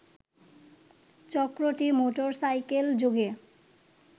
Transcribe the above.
চক্রটি মোটরসাইকেলযোগে